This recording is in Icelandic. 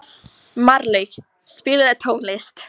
Marlaug, spilaðu tónlist.